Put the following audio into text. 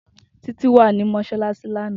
Titi wa ni mọṣalaṣi lana